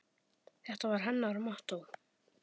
Þetta var hennar mottó.